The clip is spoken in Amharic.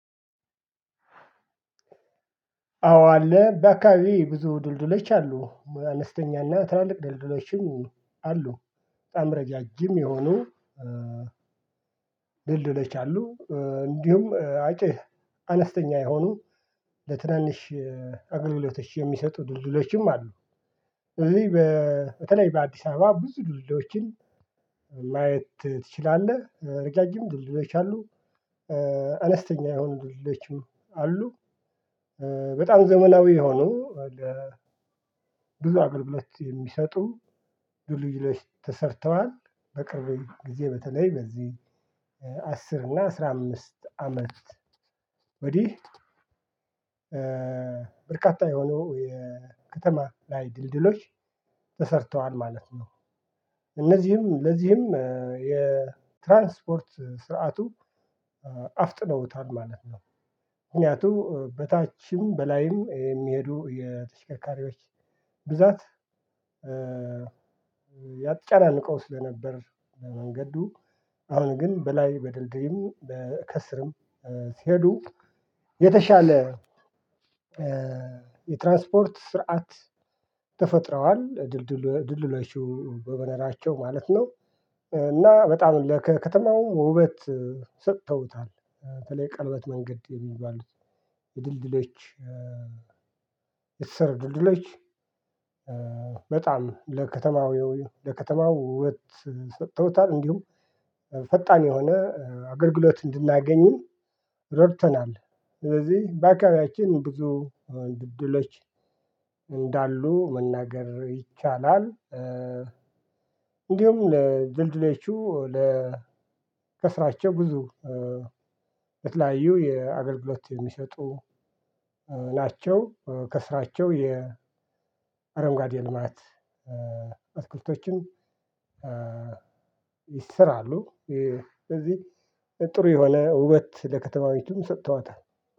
አዎ አለ በአካባቢዬ ብዙ ድልድዩች አሉ አነስተኛና ትላልቅ ድልድለችም አሉ በጣም ረጃጅም የሆኑ ድልድዩች አሉ። እንዲሁም አጭር አነስተኛ የሆኑ ለትናንሽ አገልግሎቶች የሚሰጡ ድልድዩችም አሉ። እኔ በተለይ በአዲስ አበባ ብዙ ድልድዩችን ትችላለህ እርጃጅም ድልድዩች አሉ የሆኑ ደልድዩችም አሉ። በጣም ዘመላዊ የሆኑ ብዙ አገልግሎት የሚሰጡ ድልድዩች ተሰርተዋል በቅርብ ጊዜ በተለይ በዚህ አስር እና አስራ አምስት አመት ወዲህ በርካታ የሆኑ የከተማ ላይ ድልድዩች ተሰርተዋል ማለት ነው። እነዚህም ለዚህም የትራንስፖርት ስርዓቱ አፍጥነውታል ማለት ነው። ምክንያቱም በታችም በላይም የሚሄዱ የተሽከካሪዎች ብዛት ያጫናልቀው ስለነበር ለመንገዱ አሁን ግን በላይ በድልድሪም በከስርም ሲሄዱ የተሻለ የትራስፖርት ስርዓት ተፈጥረዋል። ድልድዩቹ በመኖራቸው ማለት ነው። እና በጣም ለከከተማው ውበት ሰጥተውታል በተለይ ቀለበት መንገድ የሚባሉት ድልድሎች የተሰሩ ድልድዮች በጣም ለከተማው ለከተማው ወበት ሰጥተውታል እንዲሁም ፈጣን የሆነ አገልግሎት እንድናገኝም ረድተውናል። ስለዚህ በአካባቢያችን ብዙ ድልድዩች እንዳሉ መናገር ይቻላል። እንዲሁም ለድልድዩቹ ለ ከስራቸው ብዙ የተለያዩ የአገልግሎት የሚሰጡ ናቸው። ከስራቸው የአረንጎዴ ልማት እትክልቶችን ይሰራሉ። ስለዚህ ጥሩ የሆነ ውበት ለከተማይቱም ሰጥተዋታል